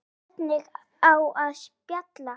Hvernig á að spila?